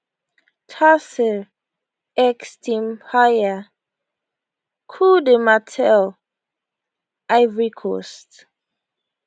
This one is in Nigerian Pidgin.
tamsir x team paiya coup du marteau ivory coast